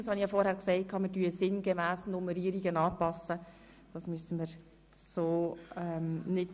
Wir werden die Nummerierungen sinngemäss anpassen.